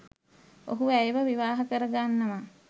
ඔහු ඇයව විවාහ කරගන්නවා